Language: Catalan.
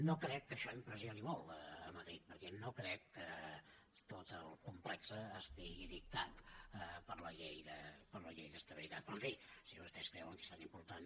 no crec que això impressioni molt a madrid perquè no crec que tot el complex estigui dictat per la llei d’estabilitat però en fi si vostès creuen que és tan important